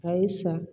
A ye sa